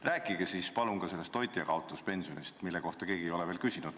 Rääkige palun ka toitjakaotuspensionist, mille kohta keegi ei ole veel küsinud.